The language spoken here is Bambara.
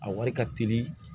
A wari ka teli